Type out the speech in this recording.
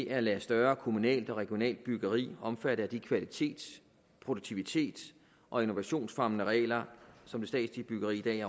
at lade større kommunalt og regionalt byggeri omfatte af de kvalitets produktivitets og innovationsfremmende regler som det statslige byggeri